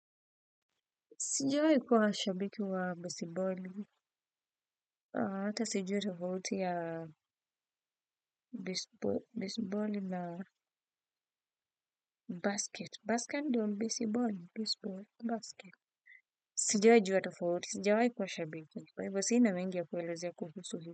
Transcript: Sijawaikuwa shabiki wa besiboli, hata sijui tofauti ya besiboli na basket. Basket ndio, besiboli, baseball, basket. Sijawaijua tofauti, sijawahikuwa shabiki. Kwa hivyo sina mengi ya kuelezea kuhusu hii.